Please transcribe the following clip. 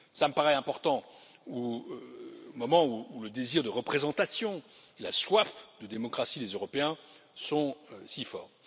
Cela me paraît important, au moment où le désir de représentation et la soif de démocratie des Européens sont si forts.